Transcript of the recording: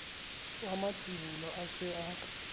wa matsibolo a se a